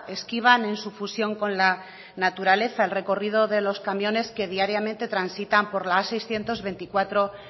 esquivan en su fusión con la naturaleza el recorrido de los camiones que diariamente transitan por la amenos seiscientos veinticuatro